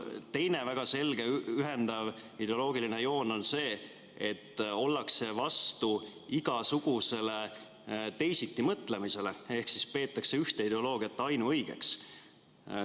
Teine väga selge ühendav ideoloogiline joon on seal see, et ollakse vastu igasugusele teisitimõtlemisele ehk peetakse ühte ideoloogiat ainuõigeks.